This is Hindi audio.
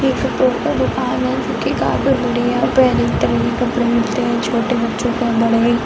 ये कपड़ो का दुकान है जो कि कपड़े मिलते हैं। छोटे बच्चों का बड़ा ही --